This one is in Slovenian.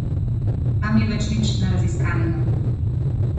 Tam ni več nič neraziskanega.